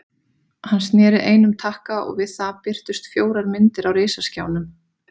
Hann sneri einum takka og við það birtust fjórar myndir á risaskjánum.